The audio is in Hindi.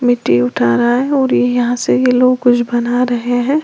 मिट्टी उठा रहा है और ये यहां से ये लोग कुछ बना रहे हैं।